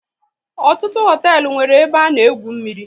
Ọtụtụ hoteelu nwéré ebe a na egwu mmiri